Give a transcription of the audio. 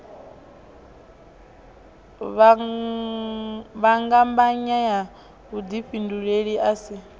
fhambanya ha vhudifhinduleli a si